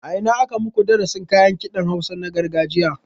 A ina aka maku darasin kayan kiɗan hausa na gargajiya